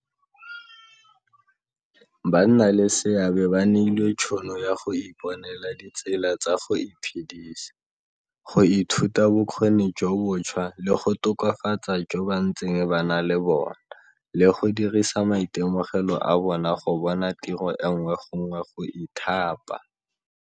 Banna leseabe ba neilwe tšhono ya go iponela ditsela tsa go iphedisa, go ithuta bokgoni jo bontšhwa le go tokafatsa jo ba ntseng ba na le bona, le go dirisa maitemogelo a bona go bona tiro e nngwe gongwe go ithapa.